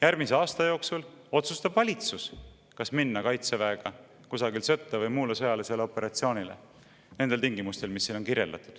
Järgmise aasta jooksul otsustab valitsus, kas minna kaitseväega kusagil sõtta või muule sõjalisele operatsioonile nendel tingimustel, mis siin on kirjeldatud.